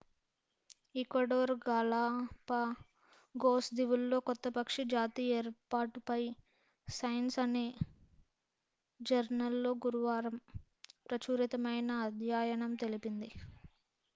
Ecuador Galapagos దీవుల్లో కొత్త పక్షి జాతి ఏర్పాటుపై సైన్స్ అనే జర్నల్ లో గురువారం ప్రచురితమైన అధ్యయనం తెలిపింది